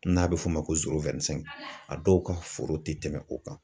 N'a bɛ f'o ma ko a dɔw ka foro tɛ tɛmɛ o kan.